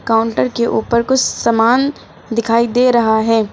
Counter के ऊपर कुछ सामान दिखाई दे रहा है।